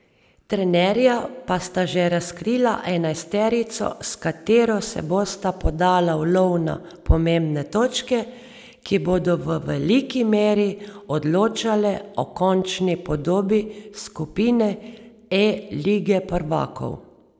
Trenerja pa sta že razkrila enajsterico, s katero se bosta podala v lov na pomembne točke, ki bodo v veliki meri odločale o končni podobi skupine E lige prvakov.